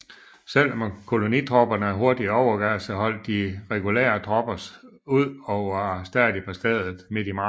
Selv om kolonitropperne hurtigt overgav sig holdt de regulære tropper ud og var stadig på stedet midt i marts